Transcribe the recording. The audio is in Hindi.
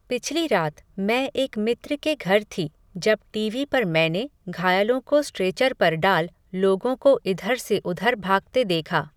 पिछली रात, मैं एक मित्र के घर थी, जब टीवी पर मैंने, घायलों को स्ट्रेचर पर डाल, लोगों को इधर से उधर भागते देखा